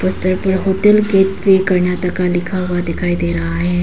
इस पूरा hotel gateway Karnataka लिखा हुआ दिखाई दे रहा है।